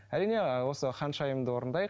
әрине ыыы осы ханшайымды орындайық